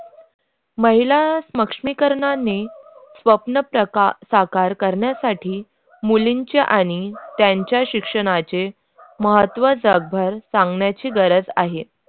महिला सक्षमीकरणने स्वप्न प्रक साकार करण्यासाठी मुलींच्या आणि त्यांच्या शिक्षणाची महत्व जागा सांगण्याची गरज आहे.